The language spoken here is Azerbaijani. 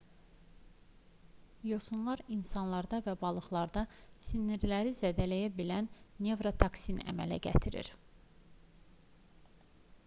yosunlar insanlarda və balıqlarda sinirləri zədələyə bilən nevrotoksin əmələ gətirir